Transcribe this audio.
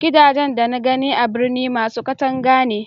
gidajen da na gani a birni masu katanga ne